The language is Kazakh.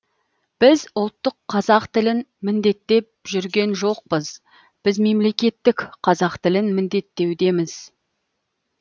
біз ұлттық қазақ тілін міндеттеп жүрген жоқпыз біз мемлекеттік қазақ тілін міндеттеудеміз